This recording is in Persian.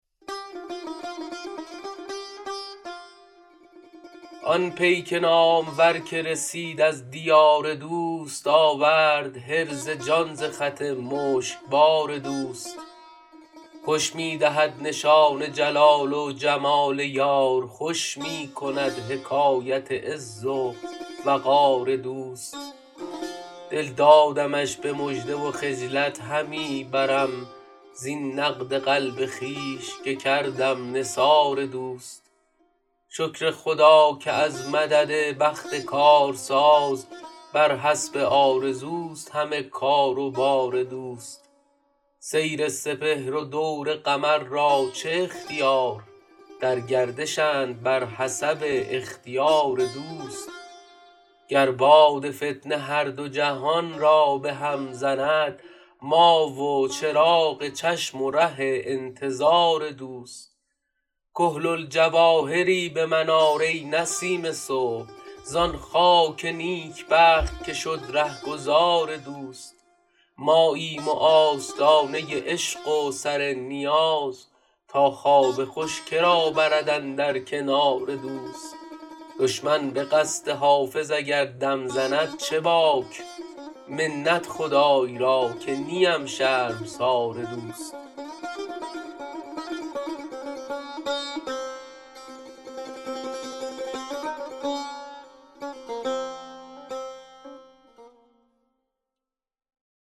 آن پیک نامور که رسید از دیار دوست آورد حرز جان ز خط مشکبار دوست خوش می دهد نشان جلال و جمال یار خوش می کند حکایت عز و وقار دوست دل دادمش به مژده و خجلت همی برم زین نقد قلب خویش که کردم نثار دوست شکر خدا که از مدد بخت کارساز بر حسب آرزوست همه کار و بار دوست سیر سپهر و دور قمر را چه اختیار در گردشند بر حسب اختیار دوست گر باد فتنه هر دو جهان را به هم زند ما و چراغ چشم و ره انتظار دوست کحل الجواهری به من آر ای نسیم صبح زان خاک نیکبخت که شد رهگذار دوست ماییم و آستانه عشق و سر نیاز تا خواب خوش که را برد اندر کنار دوست دشمن به قصد حافظ اگر دم زند چه باک منت خدای را که نیم شرمسار دوست